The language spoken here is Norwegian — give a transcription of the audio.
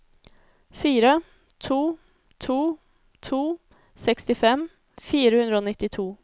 fire to to to sekstifem fire hundre og nittito